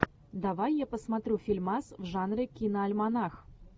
давай я посмотрю фильмас в жанре киноальманах